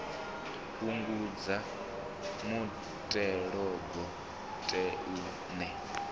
fhungudza muthelogu ṱe u ne